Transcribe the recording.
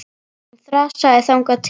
Hún þrasaði þangað til.